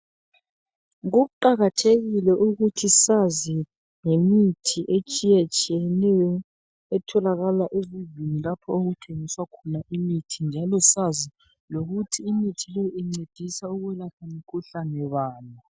Kuqakathekile ukuthi sazi ngemithi etshiyetshiyeneyo etholakala ezindlini lapho okuthengiswa khona imithi njalo sazi lokuthi imithi le incedisa ukulapha mkhuhlane bani.